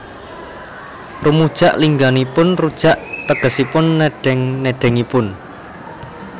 Rumujak lingganipun rujak tegesipun nedheng nedhengipun